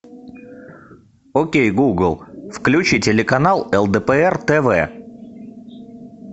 окей гугл включи телеканал лдпр тв